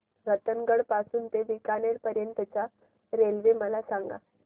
रतनगड पासून ते बीकानेर पर्यंत च्या रेल्वे मला सांगा